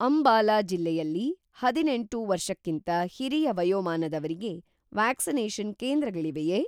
ಅಂಬಾಲಾ ಜಿಲ್ಲೆಯಲ್ಲಿ ಅದಿನೆಂಟು ವರ್ಷಕ್ಕಿಂತ ಹಿರಿಯ ವಯೋಮಾನದವರಿಗೆ ವ್ಯಾಕ್ಸಿನೇಷನ್‌ ಕೇಂದ್ರಗಳಿವೆಯೇ?